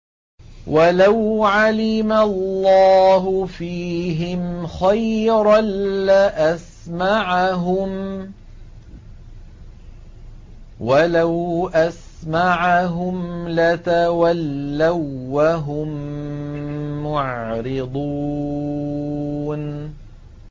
وَلَوْ عَلِمَ اللَّهُ فِيهِمْ خَيْرًا لَّأَسْمَعَهُمْ ۖ وَلَوْ أَسْمَعَهُمْ لَتَوَلَّوا وَّهُم مُّعْرِضُونَ